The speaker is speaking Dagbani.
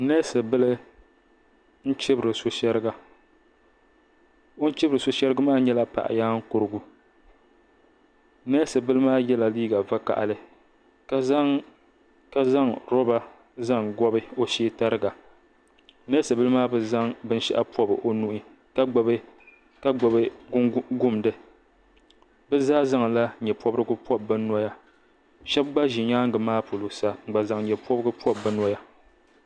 neesi bili n chibiri so shɛriga o ni chibiri so shɛrigi maa nyɛla paɣa nyaan kurigu neesi bili maa yɛla liiga vakaɣali ka zaŋ roba n zaŋ gobi o shee tariga neesi bili maa bi zaŋ binshaɣu pobi o nuhi ka gbubi gumdi bi zaa bi zaŋ nyɛ pobirigu pobi bi noya so gba ʒi nyaangi maa polo sa n gba zaŋ nyɛ pobirigu pobi bi noya